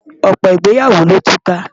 Ọ̀pọ̀ ìgbéyàwó ló ti túká.